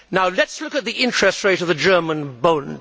Let us look at the interest rate of the German Bund.